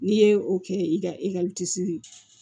N'i ye o kɛ i ka ye